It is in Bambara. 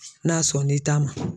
N'a sɔn n'i ta ma.